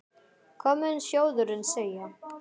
Hvað mun sjóðurinn segja?